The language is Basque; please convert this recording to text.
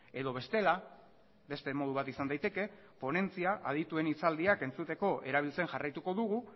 edo bestela beste modu bat izan daiteke ponentzia adituen hitzaldiak entzuteko erabiltzen jarraituko dugu